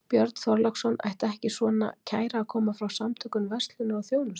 Björn Þorláksson: Ætti ekki svona kæra að koma frá Samtökum verslunar og þjónustu?